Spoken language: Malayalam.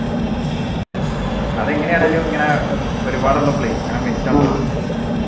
അതെങ്ങനെയാണെങ്കിലും ഇങ്ങനെ ഒരുപാട് ഉള്ളപ്പോളെ ഇങ്ങനെ മിച്ചണ്ടാവും